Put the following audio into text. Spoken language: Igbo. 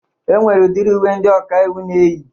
E nwere udiri uwe ndị ọkaiwu na-eyi.